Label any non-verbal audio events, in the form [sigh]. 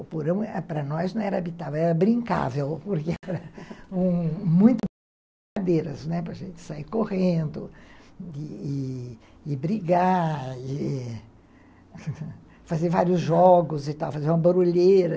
O porão para nós não era habitável, era brincável, [laughs] porque era muito brincadeiras, para a gente sair correndo e brigar, [laughs] fazer vários jogos e tal, fazer uma barulheira.